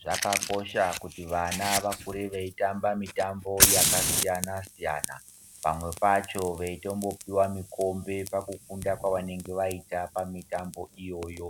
Zvakakosha kuti vana vakure veitamba mitambo yakasiyana siyana pamwe pacho veitombopiwa mikombe pakukunda kwavanenge vaita pamitambo iyoyo